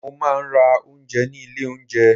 Mo máa ń rà oúnjẹ ní ilé oúnjẹ.